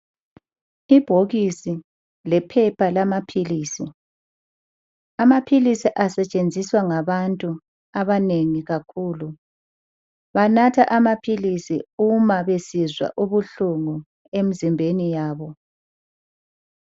Ibhokisi lephepha lamaphilizi amaphilisi asetshenziswa ngabantu abanengi kakhulu, banatha amaphilisi uma besizwa ubuhlungu emzimbeni yabo.